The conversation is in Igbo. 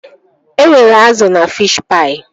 E nwere azụ na fishi paị